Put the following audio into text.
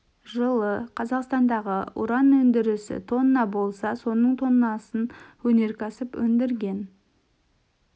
жылы қазақстандағы уран өндірісі тонна болса соның тоннасын өнеркәсіп өндірген